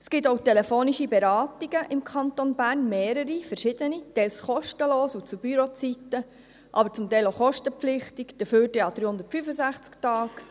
Es gibt im Kanton Bern auch mehrere, verschiedene telefonische Beratungen, teils kostenlos und zu Bürozeiten, aber zum Teil auch kostenpflichtig, dafür an 365 Tagen.